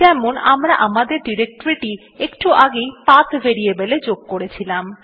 যেমন আমরা আমাদের ডিরেক্টরীটি একটু আগেই পাথ ভেরিয়েবল এ যোগ করেছিলাম